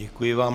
Děkuji vám.